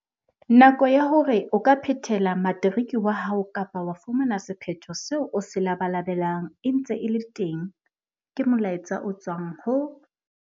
Nako ya hore o ka phethela materiki wa hao kapa wa fumana sephetho seo o se labalabelang e ntse e le teng, ke molaetsa o tswang ho